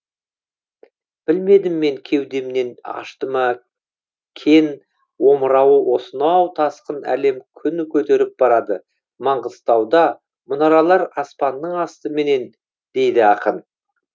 білмедім мен кеудемнен ашты ма кен омырауы осынау тасқын әлем күн көтеріп барады маңғыстауда мұнаралар аспанның астыменен дейді ақын